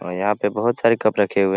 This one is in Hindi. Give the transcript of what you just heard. यहाँ पे बहुत सारे कप रखे हुए।